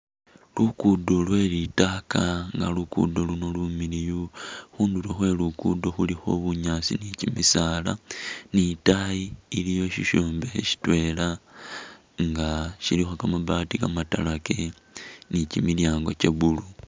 Luguddo lwe litaaka nga luguddo luuno lumiliyu, khundulo khwe luguddo khulikho bunyaasi ni kimisaala nitayi iliyo sishombekhe shitwela nga shilikho kamabaati kamatalake nichimilyango cha'blue